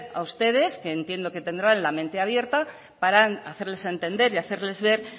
a ustedes que entiendo que tendrá la mente abierta para hacerles entender y hacerles ver